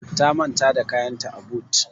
Ta manta da kayanta a but.